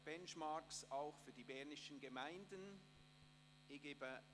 «Benchmarks auch für die bernischen Gemeinden […]».